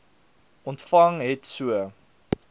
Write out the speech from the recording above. ontvang het so